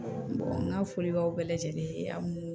n ka foli b'aw bɛɛ lajɛlen ye an mun